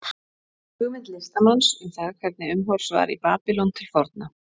hugmynd listamanns um það hvernig umhorfs var í babýlon til forna